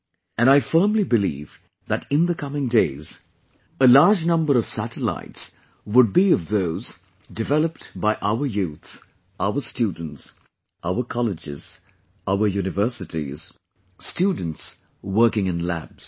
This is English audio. And I firmly believe that in the coming days, a large number of satellites would be of those developed by our youth, our students, our colleges, our universities, students working in labs